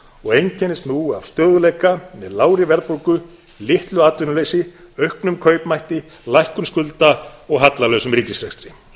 og einkennist nú af stöðugleika með lágri verðbólgu litlu atvinnuleysi auknum kaupmætti lækkun skulda og hallalausum ríkisrekstri